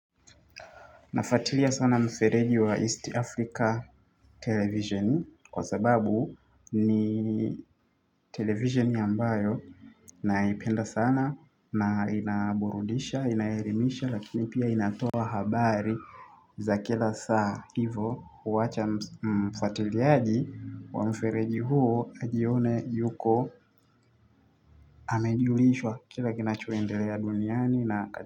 Nafatilia sana mfereji wa East Africa Television kwa sababu ni television ambayo naipenda sana na inaburudisha, inaelimisha lakini pia inatoa habari za kila saa hivo kuwacha mfuatiliaji wa mfereji huo ajione yuko amejulishwa kila kinachoendelea duniani na.